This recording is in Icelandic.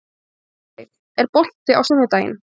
Torfey, er bolti á sunnudaginn?